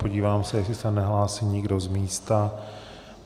Podívám se, jestli se nehlásí nikdo z místa.